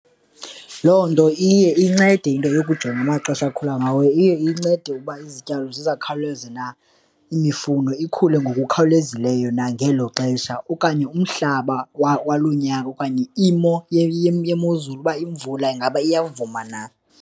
Loo nto iye incede into yokujonga amaxesha akhula ngawo, iye incede ukuba izityalo zizawukhawuleza na. Imifuno ikhule ngokukhawulezileyo na ngelo xesha okanye umhlaba waloo nyaka okanye imo yemozulu uba imvula ingaba uyavuma na.